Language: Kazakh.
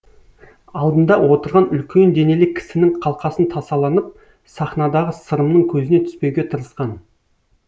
алдында отырған үлкен денелі кісінің қалқасын тасаланып сахнадағы сырымның көзіне түспеуге тырысқан